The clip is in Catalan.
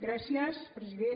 gràcies president